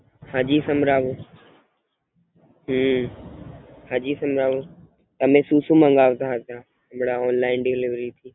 હાજી સંભળાવો હમ હાજી સંભળાવો તમે સુ સુ મંગાવતાં હતાં Online delivery થી.